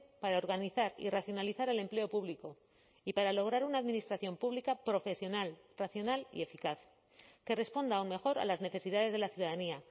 para organizar y racionalizar el empleo público y para lograr una administración pública profesional racional y eficaz que responda aún mejor a las necesidades de la ciudadanía